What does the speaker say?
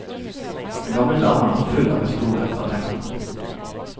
Den gamle damen er full av historier fra dengang.